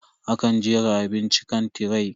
Akan jera abinci akan tiray.